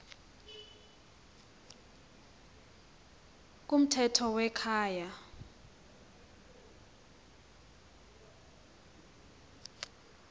kumthetho we kwaye